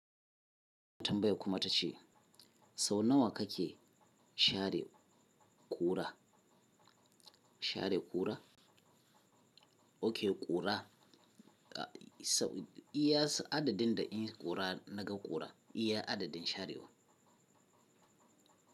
Matambaya kuma ta ce sau nawa ka ke share ƙura? Share ƙura? Oke ƙura, iya adadin da iƙura naga ƙura, iya adadin sharewa.